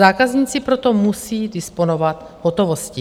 Zákazníci proto musí disponovat hotovostí.